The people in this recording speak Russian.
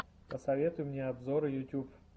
посоветуй мне обзоры ютьюб